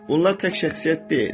Bunlar tək şəxsiyyət deyil.